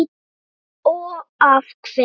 og af hverju?